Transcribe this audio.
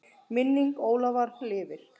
Minning Ólafar lifir.